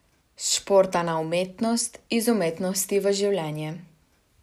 S športa na umetnost, iz umetnosti v življenje.